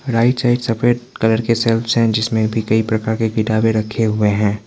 Right side सफेद colour के shelves जिसमें भी कई प्रकार के किताबें रखे हुए हैं।